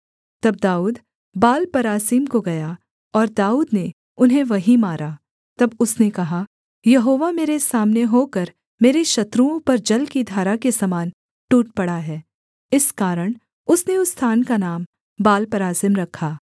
तब दाऊद बालपरासीम को गया और दाऊद ने उन्हें वहीं मारा तब उसने कहा यहोवा मेरे सामने होकर मेरे शत्रुओं पर जल की धारा के समान टूट पड़ा है इस कारण उसने उस स्थान का नाम बालपरासीम रखा